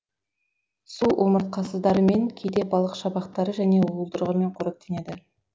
су омыртқасыздарымен кейде балық шабақтары және уылдырығымен қоректенеді